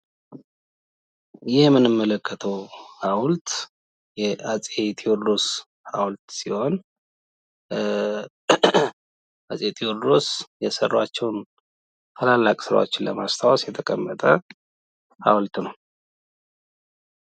ይህ የምንመለከትው ሃውልት የአጼ ቴዎድሮስ ሃዉልት ሲሆን አጼ ቴዎድሮስ የሰራቸውን ታላላቅ ስራዎችን ለማስታወስ የተቀመጠ ሃውልት ነው።